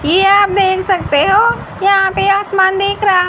ये आप देख सकते हो यहां पे आसमान दिख रहा--